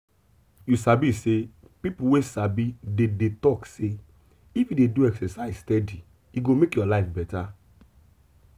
you sabi sey people wey sabi dey dey talk say if you dey do exercise steady e go make your life better.